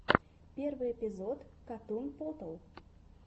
первый эпизод катун потал